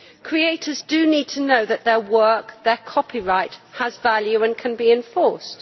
Creators do need to know that their work, their copyright, has value and can be enforced.